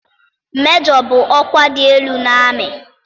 Majọ bụ ọkwa dị elu n'amị.